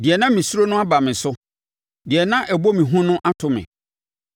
Deɛ na mesuro no aba me so; deɛ na ɛbɔ me hu no ato me.